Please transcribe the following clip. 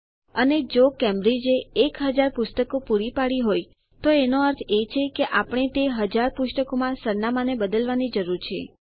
અને જો કેમ્બ્રિજે એક હજાર પુસ્તકો પૂરી પાડી હોય તો એનો અર્થ એ છે કે આપણે તે હજાર રેકોર્ડોમાં સરનામાંને બદલવાની જરૂર છે